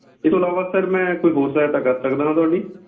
ਇਹ ਤੋਂ ਇਲਾਵਾ sir ਮੈਂ ਕੋਈ ਹੋਰ ਸਹਾਇਤਾ ਕਰ ਸਕਦਾ ਹਾਂ ਤੁਹਾਡੀ?